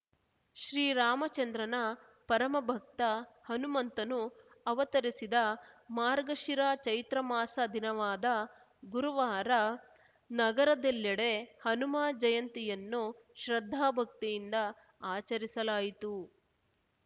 ಶ್ರೀರಾಮಚಂದ್ರನ ಪರಮ ಭಕ್ತ ಹನುಮಂತನು ಅವತರಿಸಿದ ಮಾರ್ಗಶಿರ ಚೈತ್ರಮಾಸ ದಿನವಾದ ಗುರುವಾರ ನಗರದೆಲ್ಲೆಡೆ ಹನುಮ ಜಯಂತಿಯನ್ನು ಶ್ರದ್ಧಾಭಕ್ತಿಯಿಂದ ಆಚರಿಸಲಾಯಿತು